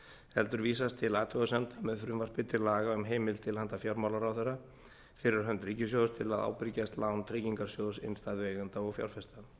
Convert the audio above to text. heldur vísast til athugasemda með frumvarpi til laga um heimild til handa fjármálaráðherra fyrir hönd ríkissjóðs til að ábyrgjast lán tryggingarsjóðs innstæðueigenda og fjárfesta